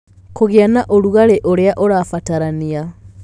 Kũgĩa na ũrugarĩ ũrĩa ũrabatarania.